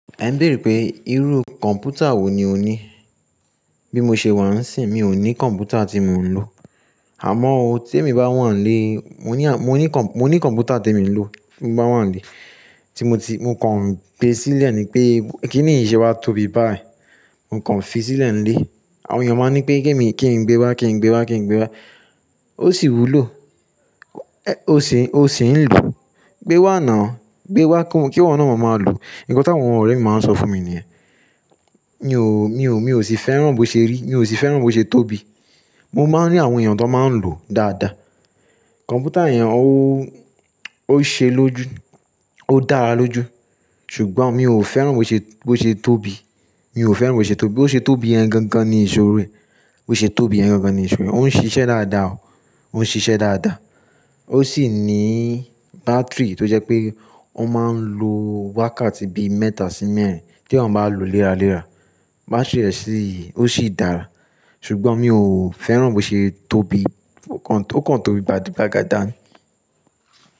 Ẹ ń béèrè pé irú kọ̀mpútà wò ní o ní. Bí mo ṣe wà níìsín mi ò ní kọ̀mpútà tí mò ń lò. Àmọ́ tí èmi bá wà nílé, mo ní à, mo ní kọ̀mpútà tí mo ń lò bí mo bá wà nílé. Tí mo ti, mo kàn gbé sílẹ̀ ni pé kínì ṣe wá tóbi báyìí. Mo kàn fi sílẹ̀ nílé. Àwọn èèyàn máa ń ní pé kí mi, kí n gbé wá, kí n gbé wá, kí n gbé wá. Ó sì wúlò. Ẹ́ ó sì ń lo. Gbé wá ná. Gbé wá kí wọna ọ máa lò. Ǹkan tí àwọn ọ̀rẹ́ mi máa ń sọ fún mi ni ẹ́. Mi ò, mi ò, mi ò sì fẹ́ràn bó ṣe rí. Mi ò sì fẹ́ràn bó ṣe tóbi. Mo máa ń rí àwọn èèyàn tó máa ń lò dáadáa. Kọ̀mpútà yẹn ó, ó ṣe lójú. Ó dára lójú. Ṣùgbọ́n mi ò fẹ́ràn bó ṣe, bó ṣe tóbi. Mi ò fẹ́ràn bó ṣe tóbi. Ó ṣe tóbiyen gan gan ní ìṣòro rẹ̀. Ó ṣe tóbi gan gan ní ìṣòro rẹ̀. Ó ń ṣiṣẹ́ dáadáa o. Ó ń ṣiṣẹ́ dáadáa. Ó sì ní bátìrì tó jẹ́ pé ó máa ń lo wákàtí bí mẹ́ta sí mẹ́rin tí ẹ́eyan bá lò léra léra. Bá ṣẹ́ṣí ó sì dára. Ṣùgbọ́n mi ò fẹ́ràn bó ṣe tóbi. Ó kàn tóbi gbagádán.